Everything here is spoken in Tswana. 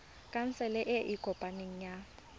khansele e e kopaneng ya